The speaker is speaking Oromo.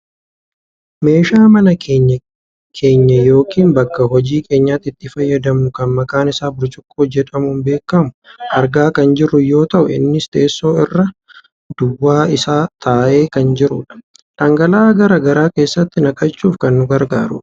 meeshaa mana keenya yookaan bakka hojii keenyaatti itti fayyadamnu kan maqaan isa burcuqqoo jedhamuun beekkamu argaa kan jirru yoo ta'u innis teessoo irra duwwaa isaa taa'ee kan jirudha. dhangala'aa gara garaa keessatti naqachuuf kan nu gargaarudha.